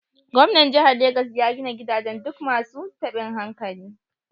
Gwamnan jihar Legas ya gina gidajen duk masu tabin hankali.